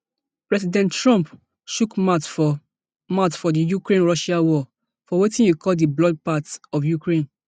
president trump chook mouth for mouth for di ukrainerussia war for wetin e call di bloodbath of ukraine